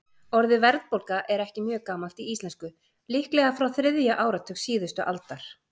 Orðið verðbólga er ekki mjög gamalt í íslensku, líklega frá þriðja áratug síðustu aldar.